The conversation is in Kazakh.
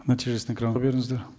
нәтижесін экранға беріңіздер